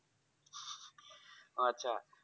হ্যাঁ আচ্ছা।